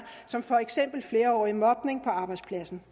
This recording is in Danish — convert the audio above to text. som for eksempel flerårig mobning på arbejdspladsen